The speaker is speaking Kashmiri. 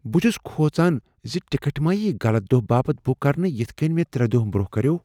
بہ چُھس کھوژان زِ ٹکٹ ما ییہ غلط دۄہ باپت بُک کرنہٕ یِتھ كٕنۍ مےٚ ترٚے دۄہ برونہہ کریوو۔